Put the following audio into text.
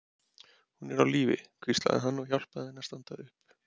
Hún er á lífi, hvíslaði hann og hjálpaði henni að standa upp.